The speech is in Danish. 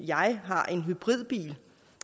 jeg har en hybridbil